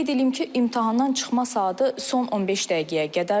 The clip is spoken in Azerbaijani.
Qeyd eləyim ki, imtahandan çıxma saatı son 15 dəqiqəyə qədərdir.